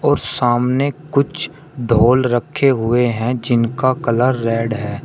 और सामने कुछ ढोल रखे हुए हैं जिनका कलर रेड है।